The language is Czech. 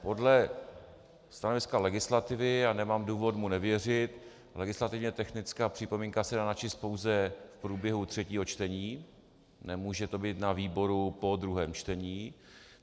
Podle stanoviska legislativy, a nemám důvod mu nevěřit, legislativně technická připomínka se dá načíst pouze v průběhu třetího čtení, nemůže to být na výboru po druhém čtení.